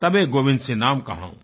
तबे गोबिंदसिंह नाम कहाऊँ